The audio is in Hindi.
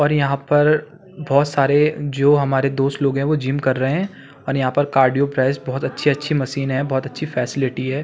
और यहाँ पर बहौत सारे जो हमारे दोस्त लोग हैं वो जिम कर रहे हैं और यहाँ पर कार्डिओ प्राइस बहौत अच्छी-अच्छी मशीने हैं बहौत अच्छी फैसिलिटी है।